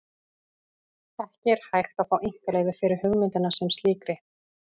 Ekki er hægt að fá einkaleyfi fyrir hugmynd sem slíkri.